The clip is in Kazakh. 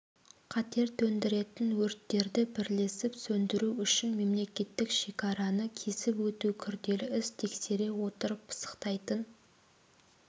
қатер төндіретін өрттерді бірлесіп сөндіру үшін мемлекеттік шекараны кесіп өту күрделі іс тексере отырып пысықтайтын